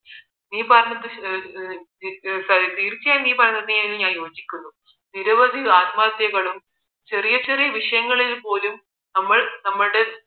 നീ പറഞ്ഞത് തീർച്ചയായും നീ പറഞ്ഞതിൽ ഞാൻ യോജിക്കുന്നു നിരവധി ആത്മഹത്യകളും ചെറിയ ചെറിയ വിഷയങ്ങളിൽ പോലും നമ്മൾ നമ്മളുടെ